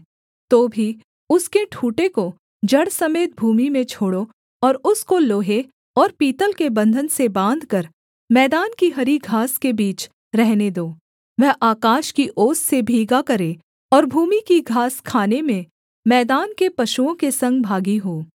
तो भी उसके ठूँठे को जड़ समेत भूमि में छोड़ो और उसको लोहे और पीतल के बन्धन से बाँधकर मैदान की हरी घास के बीच रहने दो वह आकाश की ओस से भीगा करे और भूमि की घास खाने में मैदान के पशुओं के संग भागी हो